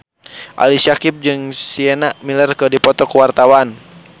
Ali Syakieb jeung Sienna Miller keur dipoto ku wartawan